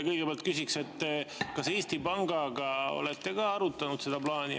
Kõigepealt küsin, kas Eesti Pangaga olete ka arutanud seda plaani.